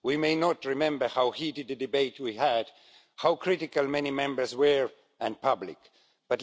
We may not remember how heated a debate we had, how critical many Members were and how public about it.